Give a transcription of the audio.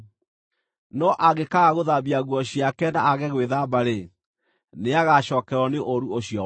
No angĩkaaga gũthambia nguo ciake na aage gwĩthamba-rĩ, nĩagacookererwo nĩ ũũru ũcio wake.’ ”